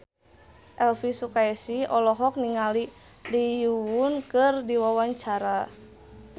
Elvy Sukaesih olohok ningali Lee Yo Won keur diwawancara